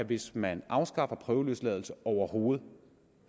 at hvis man afskaffer prøveløsladelse overhovedet